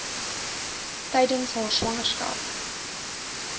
tydens haar swangerskap